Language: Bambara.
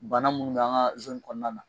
Bana munnu b'an ka zoni kɔnɔna na